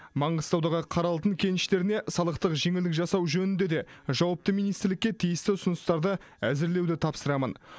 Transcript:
маңғыстаудағы қара алтын кеніштеріне салықтық жеңілдік жасау жөнінде де жауапты министрлікке тиісті ұсыныстарды әзірлеуді тапсырамын